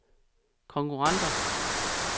konkurrenter